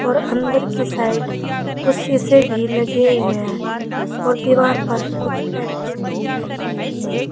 और अंदर की साइड कुछ सीसे भी लगे हुए हैं और दीवार पर कुछ पेंटिंग भी लगी हुई है।